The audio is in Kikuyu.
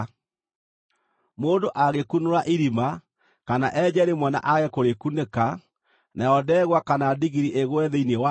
“Mũndũ angĩkunũra irima, kana enje rĩmwe na aage kũrĩkunĩka, nayo ndegwa kana ndigiri ĩgwe thĩinĩ warĩo,